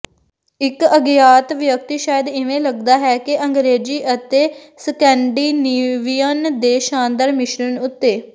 ਇਕ ਅਗਿਆਤ ਵਿਅਕਤੀ ਸ਼ਾਇਦ ਇਵੇਂ ਲੱਗਦਾ ਹੈ ਕਿ ਅੰਗਰੇਜ਼ੀ ਅਤੇ ਸਕੈਂਡੀਨੇਵੀਅਨ ਦੇ ਸ਼ਾਨਦਾਰ ਮਿਸ਼ਰਣ ਉੱਤੇ